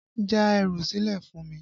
Já ẹrù sílẹ̀ fún mi!